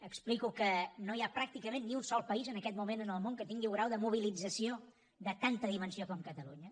explico que no hi ha pràcticament ni un sol país en aquest moment en el món que tingui un grau de mobilització de tanta dimensió com catalunya